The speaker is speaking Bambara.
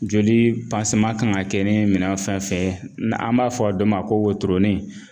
Joli kan ka kɛ ni minɛn fɛn fɛn ye n'an b'a fɔ dɔ ma ko wotoronin